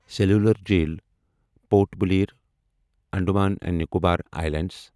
cellular Jail Port Blair, Andaman and Nicobar I لینڈٕز